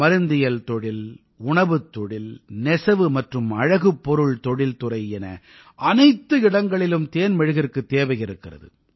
மருந்தியல் தொழில் உணவுத் தொழில் நெசவு மற்றும் அழகுப் பொருள் தொழில்துறை என அனைத்து இடங்களிலும் தேன் மெழுகிற்குத் தேவை இருக்கிறது